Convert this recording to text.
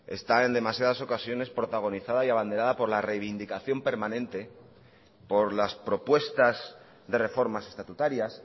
está en demasiadas ocasiones protagonizada y abandera por la reivindicación permanente por las propuestas de reformas estatutarias